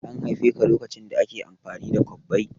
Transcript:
An haife ka lokacin da ake amfani da kwabbai?